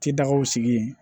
Titagaw sigi yen